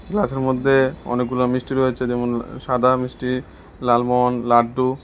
গ্লাসের মধ্যে অনেকগুলা মিষ্টি রয়েছে যেমন সাদা মিষ্টি লালমোহন লাড্ডু।